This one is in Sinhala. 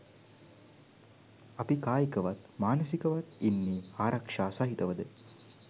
අපි කායිකවත් මානසිකවත් ඉන්නේ ආරක්ෂා සහිතවද?